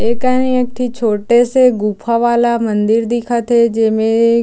ए कनि एक ठी छोटे से गुफा वाला मंदिर दिखत हे जेमें--